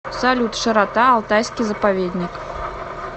салют широта алтайский заповедник